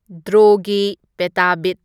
ꯗ꯭ꯔꯣꯒꯤ ꯄꯦꯇꯥꯕꯤꯠ